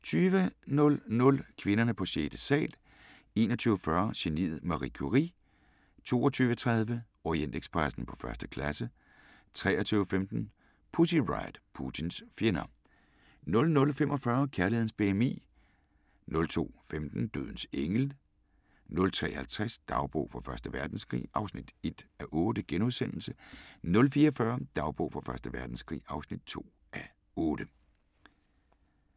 20:00: Kvinderne på sjette sal 21:40: Geniet Marie Curie 22:30: Orientekspressen på første klasse 23:15: Pussy Riot – Putins fjender 00:45: Kærlighedens BMI 02:15: Dødens engel 03:50: Dagbog fra Første Verdenskrig (1:8)* 04:40: Dagbog fra Første Verdenskrig (2:8)